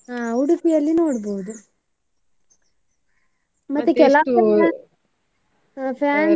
ಹಾ Udupi ಯಲ್ಲಿ ನೋಡ್ಬೋದು ಮತ್ತೆ ಕೆಲವ್ಸಲ ನಾ fancy .